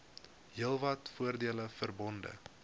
heelwat voordele verbonde